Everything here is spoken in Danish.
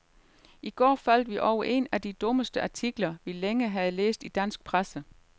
I går faldt vi over en af de dummeste artikler, vi længe har læst i dansk presse.